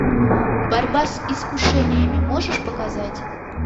борьба с искушениями можешь показать